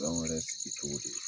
Dɔn wɛrɛ sigi cogo di?